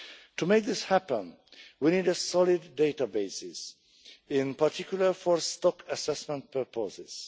To make this happen, we need solid databases, in particular for stock assessment purposes.